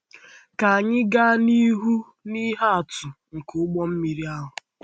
Ka anyị gaa n’ihu na ihe atụ nke ụgbọ mmiri ahụ.